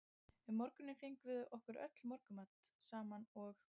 Um morguninn fengum við okkur öll morgunmat saman og